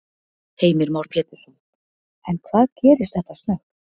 Heimir Már Pétursson: En hvað gerist þetta snöggt?